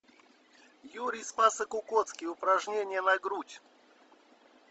юрий спасокукоцкий упражнения на грудь